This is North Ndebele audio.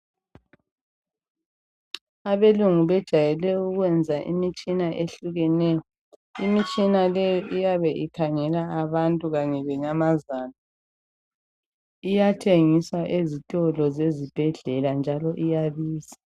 Abelungu bejwayele ukwenza imitshina ehlukeneyo. Imitshina leyo iyabe ikhangela abantu kanye lenyamazana. Iyathengisa ezitolo zezibhedlela njalo iyabiza.